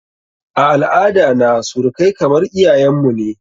A al'ada na surukai kamar iyayen mu ne.